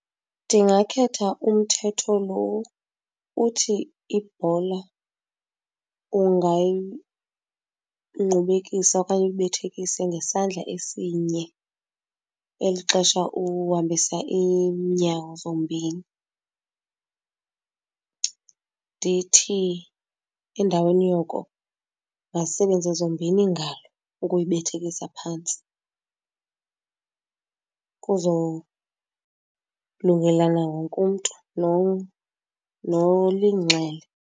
Ndingakhetha umthetho loo uthi ibhola ungayingqubekisa okanye uyibethekise ngesandla esinye eli xesha uhambisa iinyawo zombini. Ndithi endaweni yoko mazisebenze zombini iingalo ukuyibethekisa phantsi kuzolungelana wonke umntu nolinxele.